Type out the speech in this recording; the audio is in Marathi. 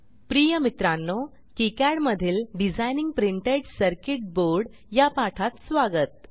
प्रिय मित्रांनो किकाड मधील डिझाइनिंग प्रिंटेड सर्किट बोर्ड या पाठात स्वागत